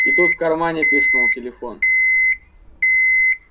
и тут в кармане пискнул телефон